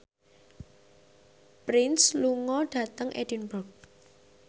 Prince lunga dhateng Edinburgh